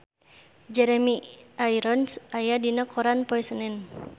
Jeremy Irons aya dina koran poe Senen